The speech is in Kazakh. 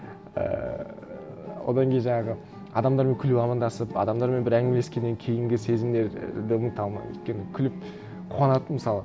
ііі одан кейін жаңағы адамдармен күліп амандасып адамдармен бір әңгімелескеннен кейінгі сезімдердің там өйткені күліп қуанатынмын мысалы